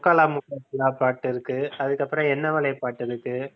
முக்காலா முக்காபுலா பாட்டிருக்கு அதுக்கப்புறம் என்னவளே பாட்டிருக்கு